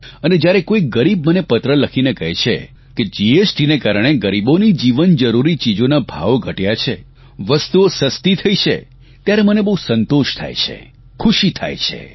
અને જ્યારે કોઇ ગરીબ મને પત્ર લખીને કહે છે કે જીએસટીના કારણે ગરીબોની જીવનજરૂરી ચીજોના ભાવ ઘટ્યા છે વસ્તુઓ સસ્તી થઇ છે ત્યારે મને બહુ સંતોષ થાય છે ખુશી થાય છે